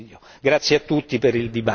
Grazie a tutti per il dibattito.